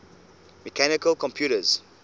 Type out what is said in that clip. mechanical computers